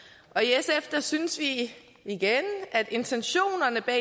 i sf synes vi igen at intentionerne bag